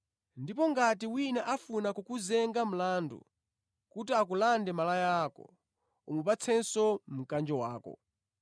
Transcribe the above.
Ndipo ngati wina afuna kukuzenga mlandu kuti akulande malaya ako, umupatsenso mkanjo wako.